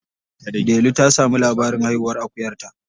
Delu ta sami labarin haihuwar akuyarta.